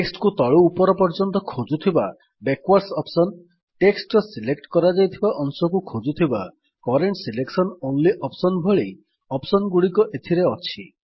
text କୁ ତଳୁ ଉପର ପର୍ଯ୍ୟନ୍ତ୍ର ଖୋଜୁଥିବା ବ୍ୟାକୱାର୍ଡସ୍ ଅପ୍ସନ୍ ଟେକ୍ସଟ୍ ର ସିଲେକ୍ଟ କରାଯାଇଥିବା ଅଂଶକୁ ଖୋଜୁଥିବା କରେଣ୍ଟ ସିଲେକସନ ଅନଲି ଅପ୍ସନ୍ ଭଳି ଅପ୍ସନ୍ ଗୁଡିକ ଏଥିରେ ଅଛି